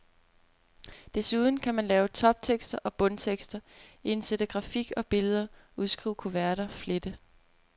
Desuden kan man lave toptekster og bundtekster, indsætte grafik og billeder, udskrive kuverter, flette.